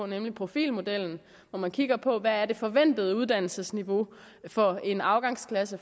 nemlig profilmodellen hvor man kigger på hvad det forventede uddannelsesniveau for en afgangsklasse